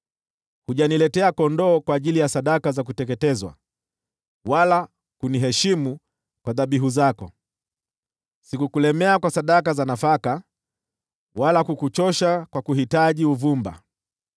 Hujaniletea kondoo kwa ajili ya sadaka za kuteketezwa, wala kuniheshimu kwa dhabihu zako. Sikukulemea kwa sadaka za nafaka wala kukuchosha kwa kuhitaji uvumba.